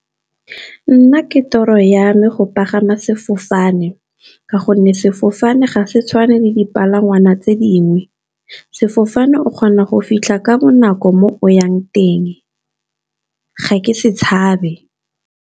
Nna ke tiro yame go pagama sefofane, ka gonne sefofane ga se tshwane le dipalangwa tse dingwe. Sefofane o kgona go fitlha ka bonako mo o yang teng ga ke se tshabe.